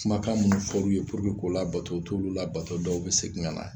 Kumakan minnu fɔr'u ye k'o labato u t'olu labato u bɛ segin ka na